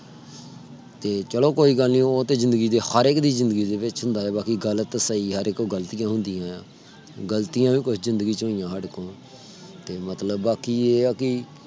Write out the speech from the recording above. ਤੇ ਚਲੋ ਕੋਈ ਗੱਲ ਨਹੀਂ ਉਹ ਤੇ ਜ਼ਿੰਦਗੀ ਦੇ ਹਰ ਇਕ ਦੇ ਜ਼ਿੰਦਗੀ ਦੇ ਵਿਚ ਹੁੰਦਾ ਆ। ਬਾਕੀ ਗੱਲ ਤੇ ਸਹੀ ਆ ਹਰ ਇਕ ਤੋਂ ਗ਼ਲਤੀਆਂ ਹੁੰਦੀਆਂ। ਗ਼ਲਤੀਆਂ ਤੇ ਮਤਲਬ ਬਾਕੀ ਇਹ ਹੈ। ਕਿ